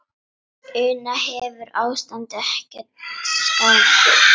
Una, hefur ástandið ekkert skánað?